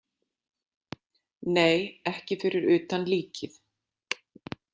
Nei, ekki fyrir utan líkið.